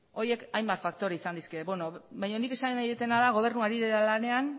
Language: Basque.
horiek hainbat faktore izan daitezke baina nik esan nahi dudana da gobernua ari dela lanean